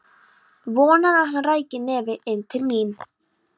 Vonaði að hann ræki nefið inn til mín.